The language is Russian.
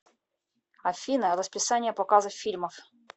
афина расписание показа фильмов